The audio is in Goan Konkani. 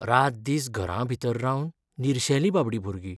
रातदीस घरांभीतर रावन निर्शेलीं बाबडीं भुरगीं.